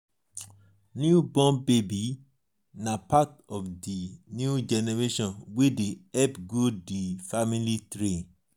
new born baby na part of di new generation wey dey help grow di family tree.